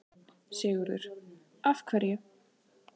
Sigurður: Af hverju?